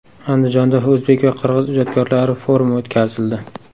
Andijonda o‘zbek va qirg‘iz ijodkorlari forumi o‘tkazildi .